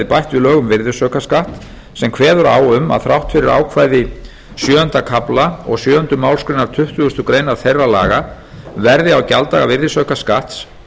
bætt við lög um virðisaukaskatt sem kveður á um að þrátt fyrir ákvæði sjöunda kafla og sjöunda málsgrein tuttugustu greinar þeirra laga verði á gjalddaga virðisaukaskatts